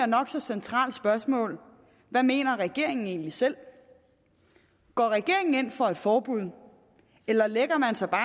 nok så centrale spørgsmål hvad mener regeringen egentlig selv går regeringen ind for et forbud eller lægger man sig bare